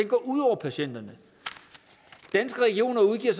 går ud over patienterne danske regioner udgiver